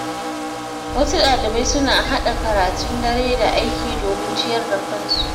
Wasu dalibai suna haɗa karatun dare da aiki domin ciyar da kansu.